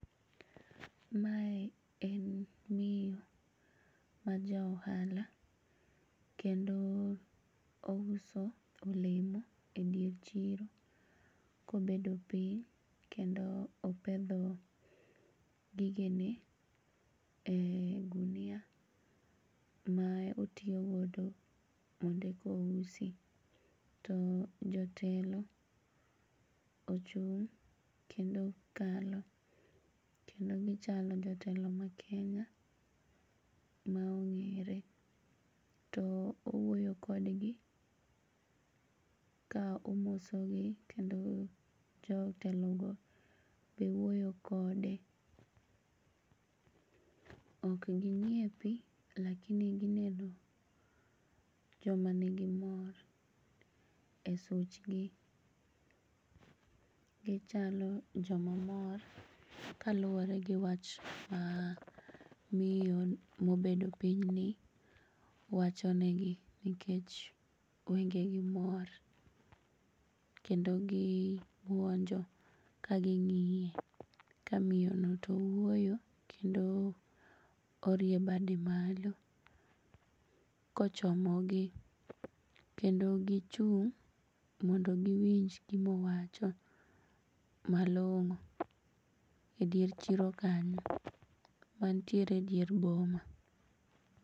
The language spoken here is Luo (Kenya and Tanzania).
Mae en miyo ma jaohala kendo ouso olemo e dier chiro kobedo piny kendo opedho gigene ee gunia ma otiyo godo mondo ekousi. To jotelo ochung' kendo kalo kendo gichalo jotelo ma Kenya maong'ere to owuoyo kodgi ka omosogi kendo jotelogo be wuoyo kode okginyiepi lakini gineno joma nigi mor e suchgi. Gichalo jomamor kaluore gi wach ma miyo mobedo pinyni wachonegi nikech wengegi mor kendo gibuonjo kaging'iye ka miyono to wuoyo kendo orie bade malo kochomo gi kendo gichung' mondo giwinj gimowacho malong'o e dier chiro kanyo mantiere diere boma.